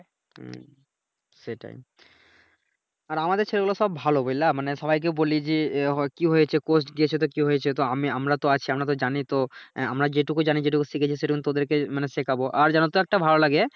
হুম সেটাই আর আমাদের ছেলে গুলা সব ভালো বুঝলা মানি সবাইকে বলি যে কি হয়েছে কোর্স গিয়েছে তো কি হয়েছে তো আমি আমরা তো আছি আমারতো জানি তো আমরা যেটুকু জানি যেটুকু শিখেছি সেটুকুন তোদেরকে মানে শেখাবো আর জানোতো একটা ভালো লাগে